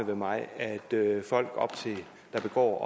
mig at folk der begår